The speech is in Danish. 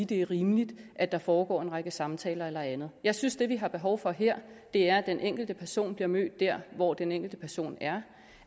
det er rimeligt at der foregår en række samtaler eller andet jeg synes at det vi har behov for her er at den enkelte person bliver mødt der hvor den enkelte person er